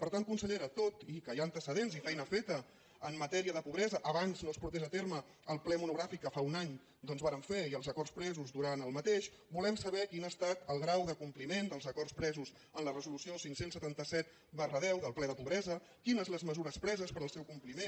per tant consellera tot i que hi ha antecedents i feina feta en matèria de pobresa abans no es portés a terme el ple monogràfic que fa un any vàrem fer i els acords presos durant aquest volem saber quin ha estat el grau de compliment dels acords presos en la resolució cinc cents i setanta set x del ple de pobresa quines les mesures preses per al seu compliment